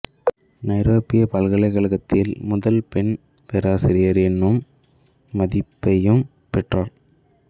நைரோபிப் பல்கலைக் கழகத்தில் முதல் பெண் பேராசிரியர் என்னும் மதிப்பையும் பெற்றார்